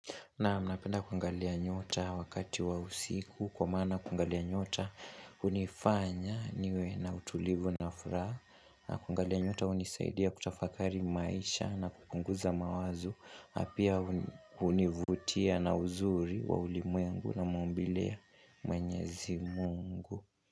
Naam, napenda kuangalia nyota wakati wa usiku kwa mana kuangalia nyota hunifanya niwe na utulivu na furaha. Na kuangalia nyota hunisaidia kutafakari maisha na kupunguza mawazo pia hunivutia na uzuri wa ulimwengu na maumbile ya mwenyezi mungu.